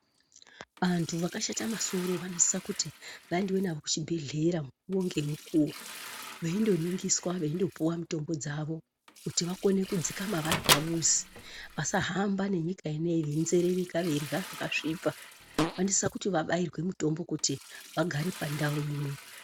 Antu vakashata masoro vanosisa kuti vaendwe navo kuchibhedhera mukuwo ngemukuwo veindoningiswa veindopuwa mitombo dzavo kuti vakone kudzikama vari pamuzi .Vasahamba nenyika ineyi veinzerereka veirya zvakasvipa. Vanosisa kuti vabairwe mitombo kuti vagare pandau imwe.